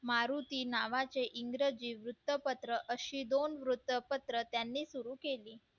मारुती नावाचे इंग्रजी वृत्तपत्र अशी दोन वृत्तपत्र त्यांनी सुरू केली